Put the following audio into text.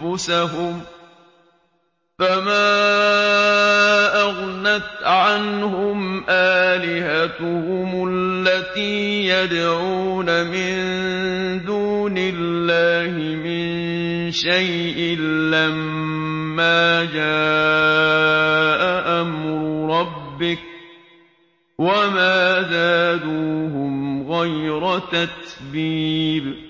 أَنفُسَهُمْ ۖ فَمَا أَغْنَتْ عَنْهُمْ آلِهَتُهُمُ الَّتِي يَدْعُونَ مِن دُونِ اللَّهِ مِن شَيْءٍ لَّمَّا جَاءَ أَمْرُ رَبِّكَ ۖ وَمَا زَادُوهُمْ غَيْرَ تَتْبِيبٍ